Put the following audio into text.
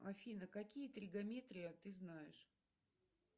афина какие тригометрия ты знаешь